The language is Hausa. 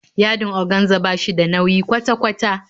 Yadin oganza ba shi da nauyi kwata kwata